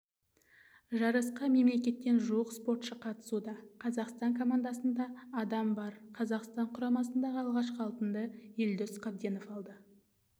жарысқа мемлекеттен жуық спортшы қатысуда қазақстан командасында адам бар қазақстан құрамасындағы алғашқы алтынды елдос қабденов алды